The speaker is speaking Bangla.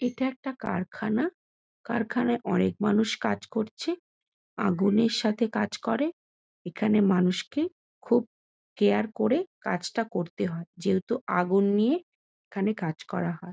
এটা একটা কারখানা কারখানায় অনেক মানুষ কাজ করছে আগুনের সাথে কাজ করে এখানে মানুষকে খুব কেয়ার করে কাজটা করতে হয় যেহেতু আগুন নিয়ে এখানে কাজ করা হয়।